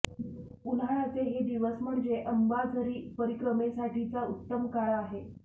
उन्हाळ्याचे हे दिवस म्हणजे अंबाझरी परिक्रमेसाठीचा उत्तम काळ आहे